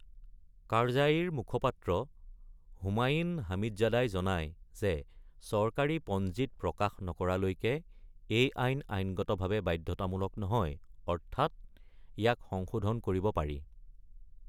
কাৰ্জাইৰ মুখপাত্ৰ হোমাইন হামিডজাদাই জনাই যে চৰকাৰী পঞ্জীত প্ৰকাশ নকৰালৈকে এই আইন আইনগতভাৱে বাধ্যতামূলক নহয়, অৰ্থাৎ ইয়াক সংশোধন কৰিব পাৰি।